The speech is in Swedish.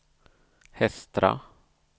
Hestra